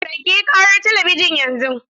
Rage ƙarar talabijin yanzu!